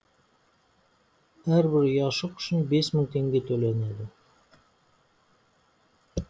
әрбір ұяшық үшін бес мың теңге төленеді